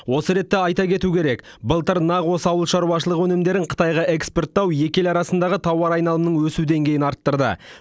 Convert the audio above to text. осы ретте айта кету керек былтыр нақ осы ауыл шаруашылығы өнімдерін қытайға экспорттау екі ел арасындағы тауар айналымының өсу деңгейін арттырды